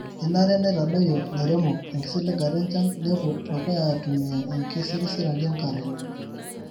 kenare neitadoyio lairemok enkisiligata enchan nepwo dukuya aitumia enkisirisiraki enkare